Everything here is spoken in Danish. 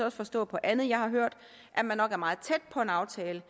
også forstå på andet jeg har hørt at man nok er meget tæt på en aftale